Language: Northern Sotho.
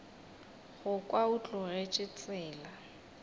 go kwa o tlogetše tsela